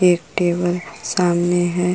एक टेबल सामने है।